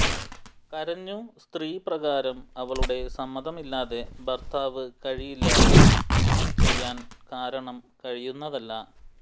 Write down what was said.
കരഞ്ഞു സ്ത്രീ പ്രകാരം അവളുടെ സമ്മതമില്ലാതെ ഭർത്താവ് കഴിയില്ല ഒന്നും ചെയ്യാൻ കാരണം കഴിയുന്നതല്ല